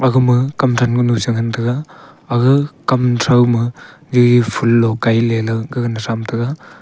agama kamthang kunu changan taga aga kam trao ma jeji foolo kaila gaga na thram taga.